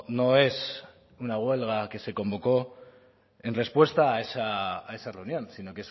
no es una huelga que se convocó en respuesta a esa reunión sino